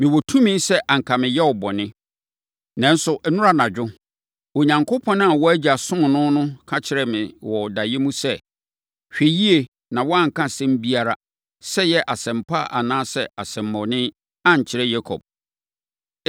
Mewɔ tumi sɛ anka meyɛ wo bɔne, nanso, nnora anadwo, Onyankopɔn a wo agya somm no no ka kyerɛɛ me wɔ daeɛ mu sɛ, ‘Hwɛ yie na woanka asɛm biara, sɛ ɛyɛ asɛm pa anaa asɛmmɔne, ankyerɛ Yakob.’